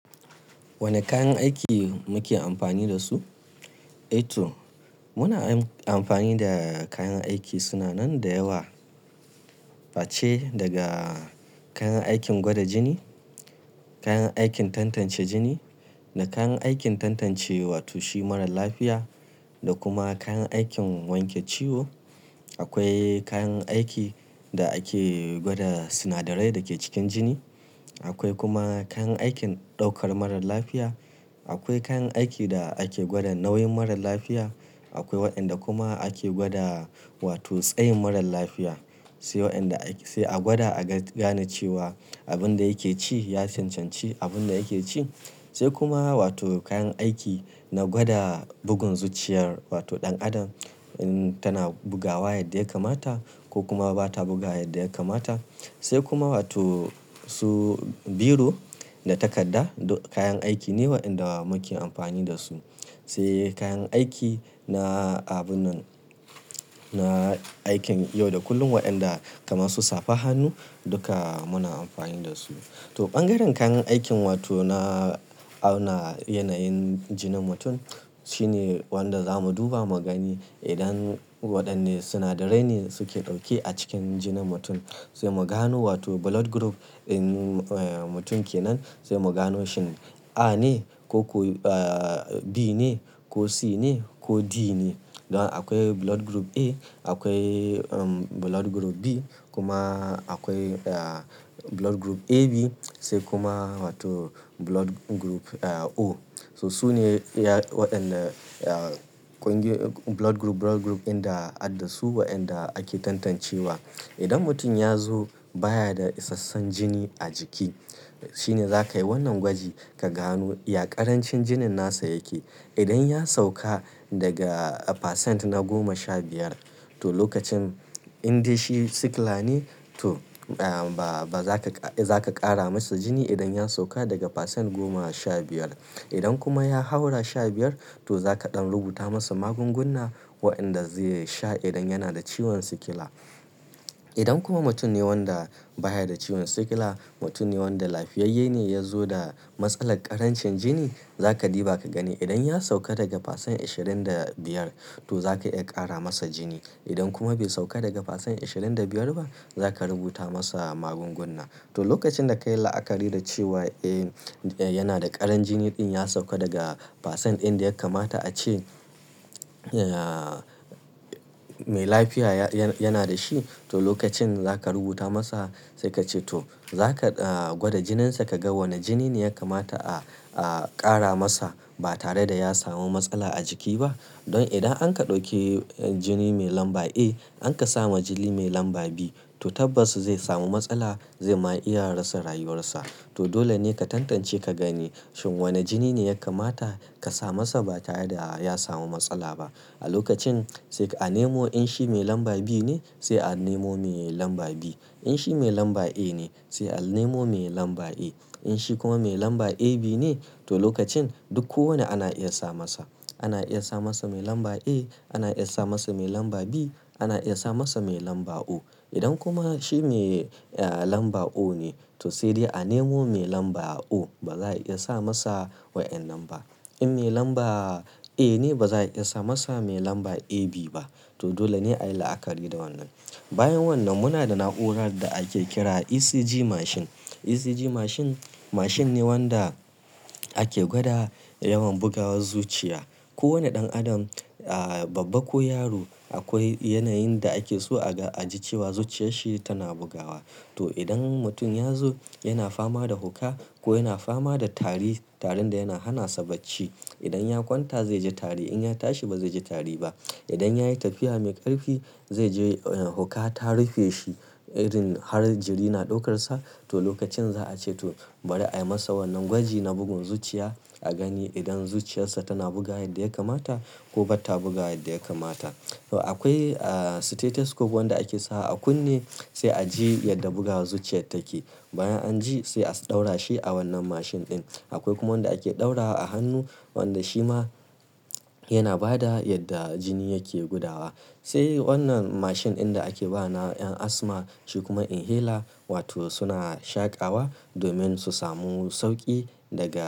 Wane kayan aiki muke amfani da su? Muna amfani da kayan aiki suna nan da yawa. Face daga kayan aikin gwada jini, kayan aikin tantance jini da kayan aikin tantance wato shi marar lafiya da kuma kayan aikin wanke ciwo. Akwai kayan aikin da ake gwada sinadarai da ke cikin jini. Akwai kuma kayan aikin ɗaukar mara lafiya. Akwai kayan aikin da ake gwada nauyin mara lafiya. Akwai waɗanda kuma ake gwada wato tsayin marar lafiya, sai a gwada a gane cewa abin da yake ci ya cancanci abin da yake ci. Sai kuma wato kayan aiki na gwada bugun zuciyar ɗan adam, in tana bugawa yadda ya kamata ko kuma ba ta bugawavyadda ya kamata. Sai kuma wato su biro da takarda. Kayan aiki ne waɗanda muke amfani da su. Sai kayan aikin na abunnan na aikin yau da kullum waɗanda kamar su safar hannu duka muna amfani da su. Ɓangaren kayan aikin wato na auna yanayin jinin mutum shine wanda zamu duba magani. Idan waɗanne sinadarai ne suke ɗauke a cikin jinin mutum. Sai mu gano wato blood group mutum ke nan. Sai mu gano shin A ne ko B ne ko C ne ko D ne. Akwai blood group A, akwai blood group B kuma akwai blood group AB. Sai kuma blood group O. To su ne iya wadanda blood group blood group dinda adda su wadanda ake tantancewa. Idan mutum ya zo baya da isassun jini a jiki shine za ka yi wannan gwaji ka gano ya ƙarancin jinin nasa yake. Idan ya sauka daga percent na goma sha biyar to lokacin in dai shi sikila ne, toh ba za ka ƙara masa jini idan ya sauka daga percent goma sha biyar. Idan kuma ya haura sha biyar to za ka ɗan rubuta masa magungunna waɗanda zai sha idan yana da ciwon sikila. Idan kuma mutum ne wanda baya da ciwon sikila, mutum ne wanda lafiyayye ne ya zo da matsalar ƙarancin jini. Za ka diba ka gani idan ya sauka daga percent ashirin da biyar to za ka iya ƙara masa jini. Idan kuma bai sauka daga percent ashirin da biyar ba za ka rubuta masa magungunna. To, lokacin da ka yi la'akari da cewa yana da ƙaran jini ɗin ya sauka daga percent inda ya kamata a ce mai lafiya yana da shi. To, lokacin za ka rubuta masa sai ka ce to za ka gwada jininsa ka ga wane jini ne ya kamata a ƙara masa ba tare da ya samu matsala a jiki ba. Don idan an ƙi ɗauki jini mai lamba A an kasa ma jini mai lamba B to tabbas zai samu matsala. Zai ma iyalin sa rayuwar sa. To, dole ne ka tantance ka gani shin wane jini ne ya kamata ka sa masa ba tare da ya samu matsala ba. A lokacin sai a nemo in shi mai lamba B ne sai a nemo mai lamba B. In shi mai lamba A ne sai a nemo mai lamba A. In shi kuma mai lamba AB ne to lokacin duk kowane ana iya sa masa. Ana iya sa masa mai lamba A, ana iya sa masa mai lamba B, ana iya sa masa mai lamba O. Idan kuma shi mai lamba O ne to sai dai a nemo mai lamba O. Ba za a iya sa masa waɗannan ba. In mai lamba A ne ba za a iya sa masa mai lamba AB ba. To dole ne a yi la'akari da wannan. Bayan wannan muna da na'urar da ake kira ECG machine. ECG machine mashin ne wanda ake gwada yawan bugawar zuciya. Kowane ɗan adam, babba ko yaro akwai yanayin da ake so a ji cewa zuciyarshi tana bugawa. To, idan mutum ya zo yana fama da hukka ko yana fama da tari, tarin da yana hana sa bacci. Idan ya kwanta zai ji tari. In ya tashi ba zai ji tari ba. Idan ya yi tafiya mai ƙarfi zai ji hukka ta rufe shi irin har jiri na ɗaukar sa. To, lokacin za a ce to bari a yi masa wannan gwaji na bugun zuciya a gani idan zuciyar sa tana bugawa yadda ya kamata ko bata bugawa yadda ya kamata. Akwai stethoscope wanda ake sa a kunne sai a ji yadda bugawar zuciyar take. Bayan an ji sai a ɗaura shi a wannan machine ɗin. Akwai kuma wanda ake ɗaura a hannu wanda shi ma yana ba da yadda jini yake gudawa. Sai wannan machine ɗin da ake ba na ƴan asma shi kuma inhaler wato suna shaƙawa domin su samu sauƙi daga-